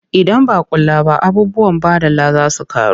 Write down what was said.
Idan ba a kula ba abubuwan baɗala za su ƙaru.